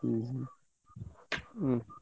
ହୁଁ ହୁଁ। ହୁଁ।